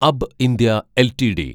അബ്ബ് India LTD